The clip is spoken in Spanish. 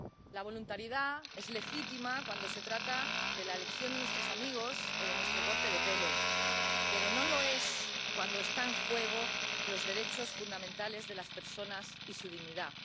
La voluntariedad es legítima cuando se trata de la elección de nuestros amigos o de nuestro corte de pelo, pero no lo es cuando están en juego los derechos fundamentales de las personas y su dignidad.